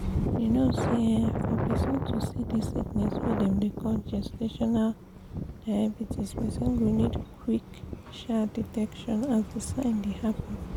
you know say um for persin to see this sickness wey dem dey call gestational diabetespersin go need qik um detection as the sign dey happen